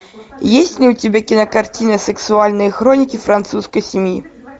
есть ли у тебя кинокартина сексуальные хроники французской семьи